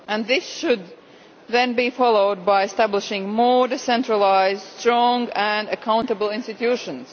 This should then be followed by establishing more decentralised, strong and accountable institutions.